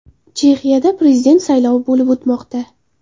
Chexiyada prezident saylovi bo‘lib o‘tmoqda.